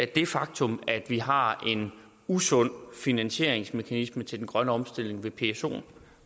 det faktum at vi har en usund finansieringsmekanisme til den grønne omstilling ved psoen